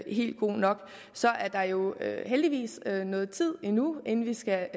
helt god nok så er der jo heldigvis noget tid endnu inden vi skal